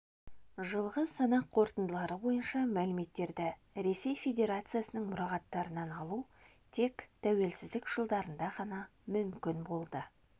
жылғы санақ қорытындылары бойынша мәліметтерді ресей федерациясының мұрағаттарынан алу тек тәуелсіздік жылдарында ғана мүмкін болды